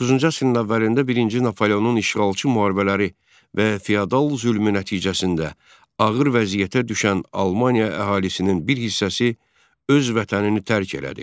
19-cu əsrin əvvəlində birinci Napoleonun işğalçı müharibələri və feodal zülmü nəticəsində ağır vəziyyətə düşən Almaniya əhalisinin bir hissəsi öz vətənini tərk elədi.